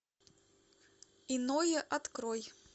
иное открой